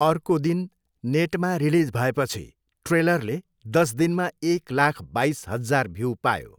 अर्को दिन नेटमा रिलिज भएपछि ट्रेलरले दस दिनमा एक लाख बाइस हजार भ्यु पायो।